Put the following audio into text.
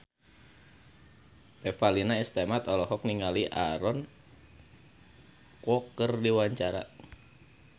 Revalina S. Temat olohok ningali Aaron Kwok keur diwawancara